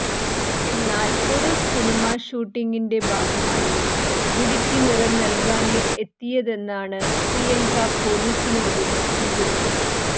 എന്നാൽ ഒരു സിനിമാ ഷൂട്ടിംഗിന്റെ ഭാഗമായി മുടിക്ക് നിറം നല്കാന് എത്തിയതെന്നാണ് പ്രിയങ്ക പൊലീസിനോട് വിശദീകരിച്ചത്